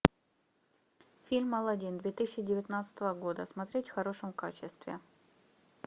фильм алладин две тысячи девятнадцатого года смотреть в хорошем качестве